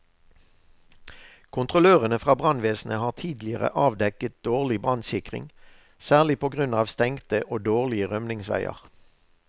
Kontrollørene fra brannvesenet har tidligere avdekket dårlig brannsikring, særlig på grunn av stengte og dårlige rømningsveier.